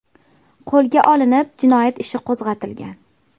qo‘lga olinib, jinoyat ishi qo‘zg‘atilgan.